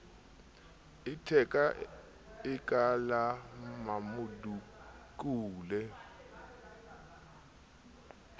letheka e ka la mmamodukule